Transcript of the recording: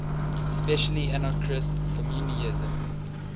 especially anarchist communism